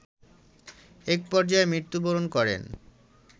একপর্যায়ে মৃত্যুবরণ করেন